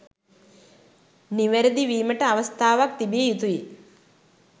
නිවාරදි විමට අවස්ථාවක් තිබිය යුතුයි.